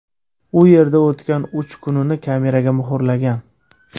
U yerda o‘tgan uch kunini kameraga muhrlagan.